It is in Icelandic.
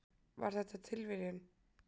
Var þetta tilviljun?